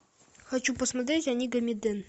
хочу посмотреть онигамиден